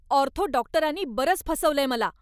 Ortho डॉक्टरांनी बरंच फसवलंय मला.